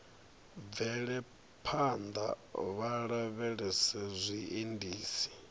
bvele phanḓa vha lavhelese zwiendisi